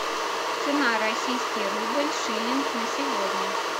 цена российский рубль шиллинг на сегодня